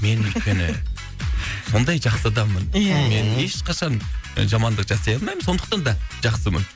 мен өйткені сондай жақсы адаммын ия ия мен ешқашан жамандық жасай алмаймын сондықтан да жақсымын